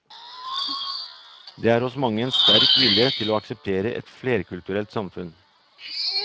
Det er hos mange en sterk vilje til å akseptere et flerkulturelt samfunn.